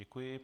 Děkuji.